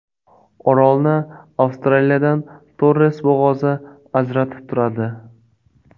Orolni Avstraliyadan Torres bo‘g‘ozi ajratib turadi.